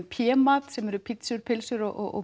p mat sem eru pítsur pylsur og